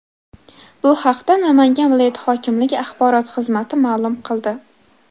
Bu haqda Namangan viloyat hokimligi axborot xizmati ma’lum qildi .